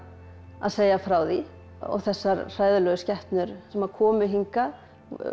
að segja frá því og þessar hræðilegu skepnur sem að komu hingað